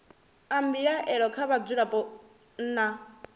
a mbilaelo kha vhadzulapo nna